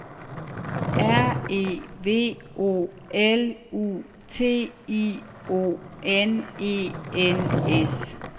R E V O L U T I O N E N S